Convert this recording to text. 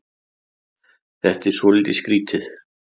Þetta er svolítið skrítið.